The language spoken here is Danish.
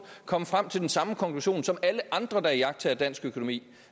komme frem til den samme konklusion som alle andre der iagttager dansk økonomi